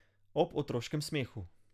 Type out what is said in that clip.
Ob otroškem smehu.